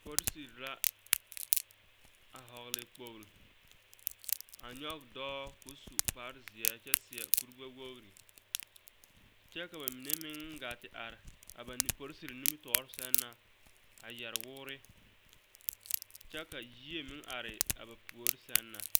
Polisiri la a vɔgle kpogre a nyɔge dɔɔ ka o su kpare zeɛ kyɛ seɛ kuri gbɛwogri kyɛ ka mine meŋ gaa te are a polisiri nimitɔɔre sɛŋ na a yɛre woore kyɛ ka yie meŋ are ba puori sɛŋ na.